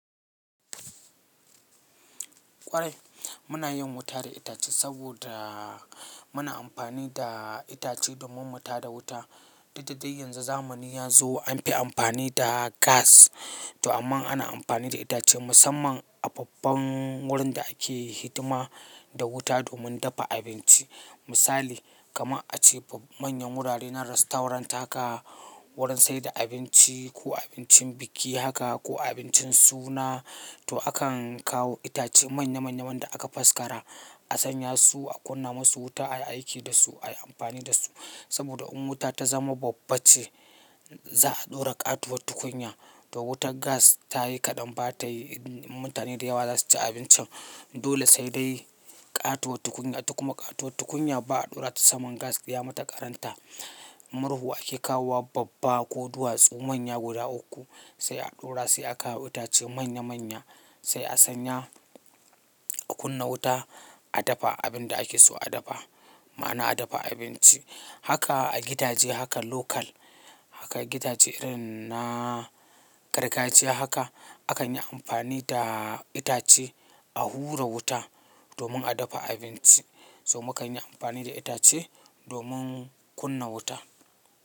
Kwarai muna yin wuta da itace saboda muna amfani da itace domin mutada wuta. Duk da dai yanzu zamani ya zo an fi amfani da gas, to amma ana amfani da itace musamman a babban wurin da ake hidima da wuta domin dafa abinci. Misali, kama a ce manyan wurare na rastorant haka, wurin saida abinci ko abincin biki haka ko abincin suna, to akan kawo itace manya manya wanda aka faskara, a sanya su a kunna musu wuta ayi aiki dasu, ayi amfani dasu. Saboda in wuta ta zama babba ce za'a dora ƙatuwar tukunya to wutar gas ta yi kaɗan ba tayi mutane dayawa za su ci abincin dole sai dai ƙatuwar tukunya ita kuma ƙatuwar tukunya ba'a ɗora ta saman gas ya mata ƙaranta murhu ake kawo wa babba ko duwatsu manya guda uku sai a ɗora sai akawo itace manya manya sai a sanya a kunna wuta a dafa abin da ake so a dafa. Ma'ana a dafa abinci. Haka a gidaje haka local, haka a gidaje irin na gargajiya haka akan yi amfani da itace a hura wuta domin a dafa abinci. To muka yi amfani da itace domin kunna wuta.